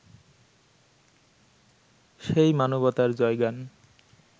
সেই মানবতার জয়গান